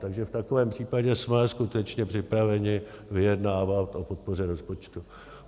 Takže v takovém případě jsme skutečně připraveni vyjednávat o podpoře rozpočtu.